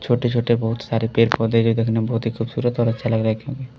छोटे-छोटे बहुत सारे पेड़-पौधे ये देखने में बहुत ही खूबसूरत और अच्छा लग रहा है क्योंकि --